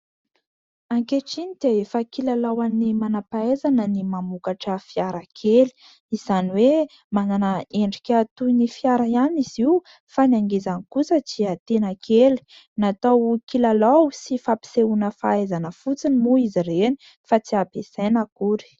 Ankehitriny dia efa kilalaon'ny manam-pahaizana ny mamokatra fiara kely, izany hoe manana endrika toy ny fiara ihany izy io fa ny angezany kosa dia tena kely. Natao kilalao sy fampisehoana fahaizana fotsiny moa izy ireny fa tsy ampiasaina akory.